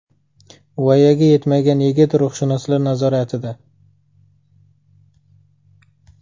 Voyaga yetmagan yigit ruhshunoslar nazoratida.